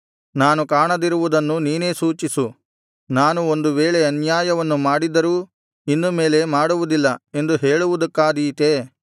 ನಾನು ಕಾಣದಿರುವುದನ್ನು ನೀನೇ ಸೂಚಿಸು ನಾನು ಒಂದು ವೇಳೆ ಅನ್ಯಾಯವನ್ನು ಮಾಡಿದ್ದರೂ ಇನ್ನು ಮೇಲೆ ಮಾಡುವುದಿಲ್ಲ ಎಂದು ಹೇಳುವುದಕ್ಕಾದೀತೇ